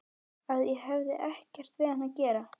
Að ég hefði ekkert við hann að gera.